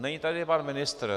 Není tady pan ministr.